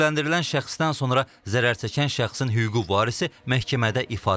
Təqsirləndirilən şəxsdən sonra zərərçəkən şəxsin hüquqi varisi məhkəmədə ifadə verib.